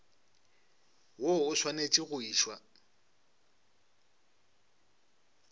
woo o swanetše go išwa